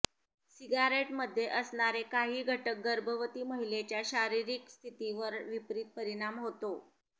सिगारेटमध्ये असणारे काही घटक गर्भवती महिलेच्या शारीरिक स्थितीवर विपरीत परिणाम होतो